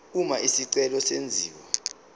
uma isicelo senziwa